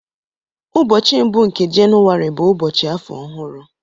ụbọchị mbụ nke Jenụwarị bụ ụbọchị afọ ọhụrụ